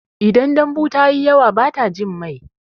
Idan dambu tayi yawa bata jin mai